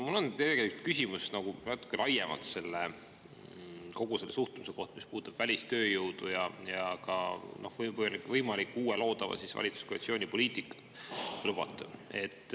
Mul on tegelikult küsimus natuke laiemalt kogu selle suhtluse kohta, mis puudutab välistööjõudu ja ka võimaliku uue, loodava valitsuskoalitsiooni poliitikat, kui lubate.